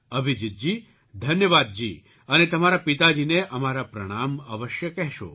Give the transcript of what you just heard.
અભિજીતજી ધન્યવાદ જી અને તમારા પિતાજીને અમારા પ્રણામ અવશ્ય કહેજો